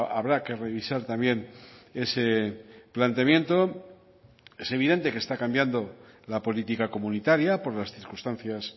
habrá que revisar también ese planteamiento es evidente que está cambiando la política comunitaria por las circunstancias